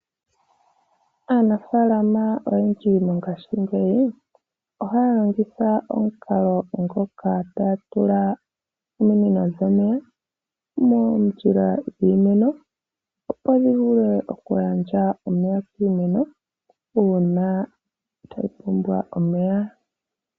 Aanafalama oyendji mongaashingeyi ohaya longitha omukalo ngoka taya tula ominino dhomeya moondjila dhiimeno opo dhi vule okugandja omeya kiimeno uuna tayi pumbwa omeya .